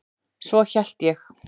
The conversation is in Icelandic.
Svo hélt ég.